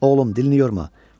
Oğlum, dilini yorma.